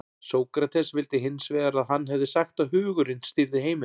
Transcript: sókrates vildi hins vegar að hann hefði sagt að hugurinn stýrði heiminum